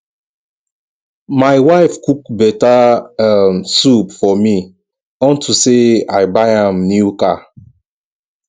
my wife cook beta um soup for me unto say i buy am new car